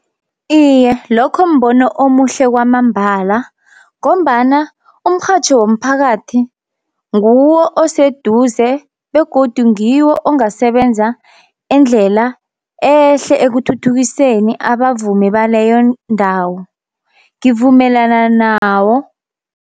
Iye lokho mbono omuhle kwamambala, ngombana umrhatjho womphakathi nguwo oseduze begodu ngiwo ongasebenza indlela ehle ekuthuthukiseni abavumi baleyo ndawo, ngivumelana nawo.